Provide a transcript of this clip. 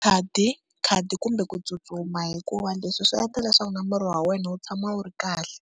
Khadi, khadi kumbe ku tsutsuma hikuva leswi swi endla leswaku na miri wa wena wu tshama wu ri kahle.